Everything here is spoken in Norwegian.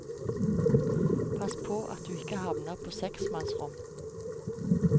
Pass på at du ikke havner på seksmanns rom.